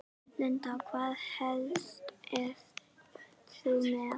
Linda: Hvaða hest ert þú með?